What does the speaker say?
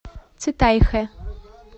цитайхэ